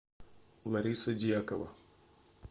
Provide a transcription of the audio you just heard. лариса дьякова